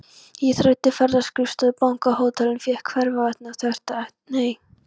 Ég þræddi ferðaskrifstofur, banka, hótel, en fékk hvarvetna þvert nei.